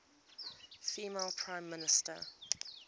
female prime minister